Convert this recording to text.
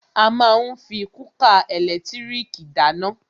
A má ń fí kúkà ẹ̀lẹ́tírìkì dáná.